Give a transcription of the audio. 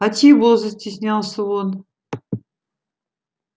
а чего застеснялся он